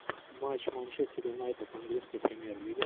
матч манчестер юнайтед английская премьер лига